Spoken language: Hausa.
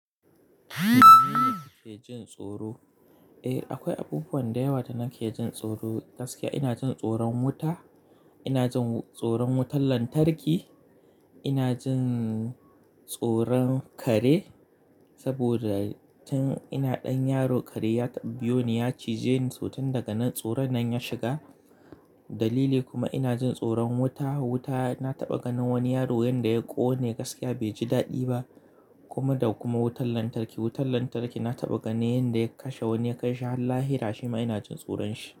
Mene ne yake jin tsoro? Eh, akwai abubuwa da yawa ta na ke jin tsoro gaskiya. Ina jin tsoron wuta, ina jin tsoron wutar lantarki, ina jin tsoron kare saboda tun ina ɗan yaro kare ya tabbiyo ni ya cije ni, sosai tun daga nan tsoro nan ya shiga. Dalili kuma ina jin tsoron wuta, wuta na taɓa ganin wani yaro wanda ya ƙone gaskiya bai ji daɗi ba. Kuma da kuma wutar lantarki, wutar lantarki na taɓa ganin wanda ya kashe wani ya kai shi Allah y rasa, kuma ina jin tsoron shi.